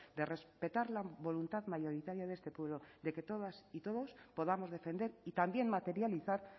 de respetar la voluntad mayoritaria de este pueblo de que todas y todos podamos defender y también materializar